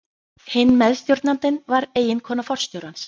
Hinn meðstjórnandinn var eiginkona forstjórans.